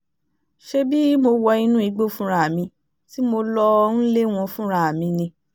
ṣebí mo wọ inú igbó fúnra mi tí mo lọ́ọ́ ń lé wọn fúnra mi ni